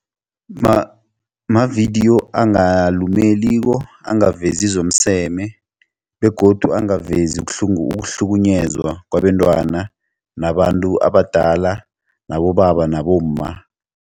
Mavidiyo angalumeliko angavezi zomseme begodu angavezi ukuhlukunyezwa kwabentwana nabantu abadala nabobaba nabomma.